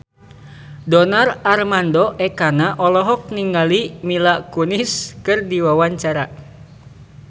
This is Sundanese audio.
Donar Armando Ekana olohok ningali Mila Kunis keur diwawancara